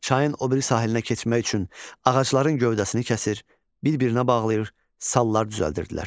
Çayın o biri sahilinə keçmək üçün ağacların gövdəsini kəsir, bir-birinə bağlayır, sallar düzəldirdilər.